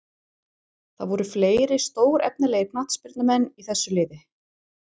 Það voru fleiri stórefnilegir knattspyrnumenn í þessu liði.